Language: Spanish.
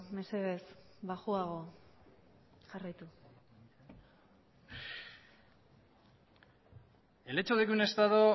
mesedez baxuago jarraitu el hecho de que un estado